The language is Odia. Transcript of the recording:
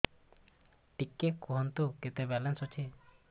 ଟିକେ କୁହନ୍ତୁ କେତେ ବାଲାନ୍ସ ଅଛି